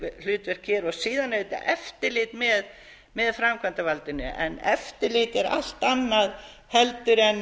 hér og síðan auðvitað eftirlit með framkvæmdarvaldinu en eftirlit er allt annað en